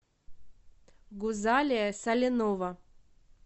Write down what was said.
гузалия саленова